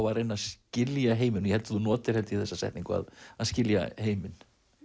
að reyna að skilja heiminn og ég held þú notir þessa setningu að skilja heiminn